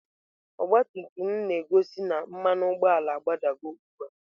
Ọgabtumtum m na-gosị na mmanu ugboala a gbadago ugbua.